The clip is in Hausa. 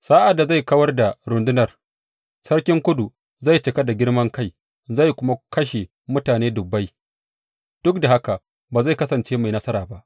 Sa’ad da zai kawar da rundunar, sarkin Kudu zai cika da girman kai zai kuma kashe mutane dubbai, duk da haka ba zai kasance mai nasara ba.